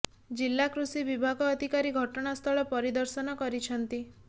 ଜିଲ୍ଲା କୃଷି ବିଭାଗ ଅଧିକାରୀ ଘଟଣା ସ୍ଥଳ ପରିଦର୍ଶନ କରିଛନ୍ତି